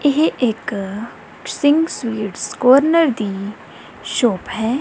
ਇਹ ਇੱਕ Singh sweets corner ਦੀ ਸ਼ੌਪ ਹੈ।